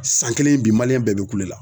A san kelen ye bi bɛɛ be kule la.